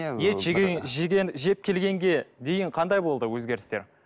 жеп келгенге дейін қандай болды өзгерістер